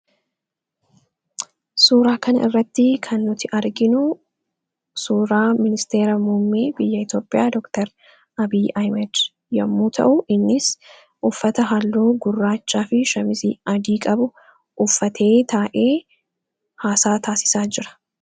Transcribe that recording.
Suuraa kana irratti kan nuti arginu suuraa ministeera muummee biyya Itoophiyaa Dookter Abiy Ahmed yommuu ta'u, innis uffata halluu gurraachaa fi shamizii adii qabu uffatee, taa'ee haasaa taasisaa jira.